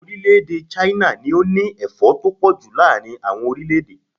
Orílè-èdè Ṣáínà ló ní Ẹ̀fọ́ tó pọ̀ ju láàárín àwọn orílẹ̀-èdè.